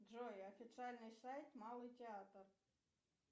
джой официальный сайт малый театр